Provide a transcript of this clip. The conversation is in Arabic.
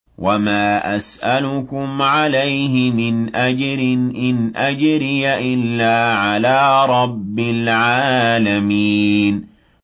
وَمَا أَسْأَلُكُمْ عَلَيْهِ مِنْ أَجْرٍ ۖ إِنْ أَجْرِيَ إِلَّا عَلَىٰ رَبِّ الْعَالَمِينَ